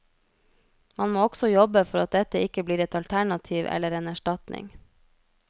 Man må også jobbe for at dette ikke blir et alternativ eller en erstatning.